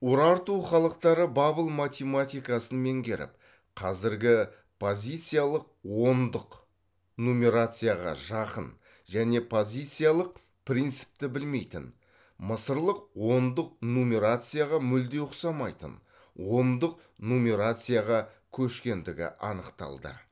урарту халықтары бабыл математикасын меңгеріп қазіргі позициялық ондық нумерацияға жақын және позициялық принципті білмейтін мысырлық ондық нумерацияға мүлде ұқсамайтын ондық нумерацияға көшкендігі анықталды